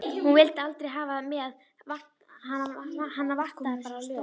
Hún vildi aldrei hafa þig með, hana vantaði bara lög.